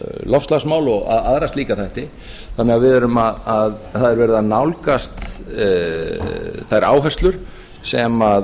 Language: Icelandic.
loftslagsmál og aðra slíka þætti þannig að það er verið að nálgast þær áherslur sem